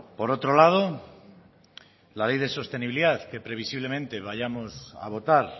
por otro lado la ley de sostenibilidad que previsiblemente vayamos a votar